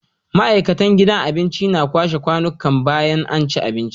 Ma'aikatan gidan abincin na kwashe kwanikan bayan anci abinci